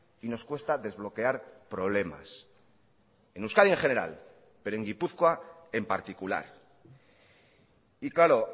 y nos cuesta desbloquear problemas en euskadi en general pero en gipuzkoa en particular y claro